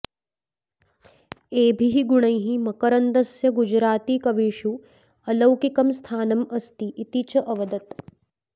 एभिर्गुणैः मकरन्दस्य गुजराती कवीषु अलौकिकं स्थानम् अस्ति इति च अवदत्